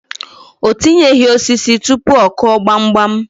O tinyeghi osisi tụpụ ọ Kụọ gbamgbam.